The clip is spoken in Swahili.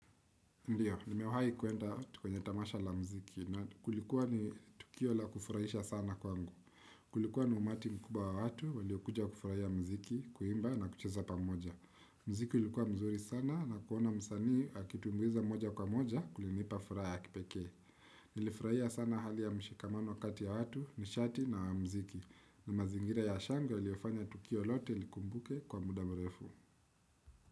Ndiyo, nimewahi kuenda kwenye tamasha la mziki na kulikuwa ni Tukio la kufurahisha sana kwangu. Kulikuwa ni umati mkubwa wa watu, waliokuja kufurahia mziki, kuimba na kucheza pamoja. Mziki ulikuwa mzuri sana na kuona msanii, akitumbuiza moja kwa moja, kulinipa furaha ya kipeke. Nilifurahia sana hali ya mshikamano kati ya watu, mishati na mziki. Na mazingira ya shango, yaliofanya Tukio lote likumbuke kwa muda mrefu.